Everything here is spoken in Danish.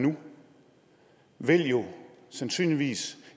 nu vil jo sandsynligvis